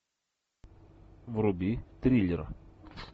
вруби триллер